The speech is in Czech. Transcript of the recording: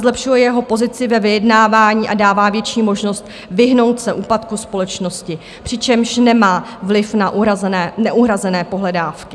Zlepšuje jeho pozici ve vyjednávání a dává větší možnost vyhnout se úpadku společnosti, přičemž nemá vliv na neuhrazené pohledávky.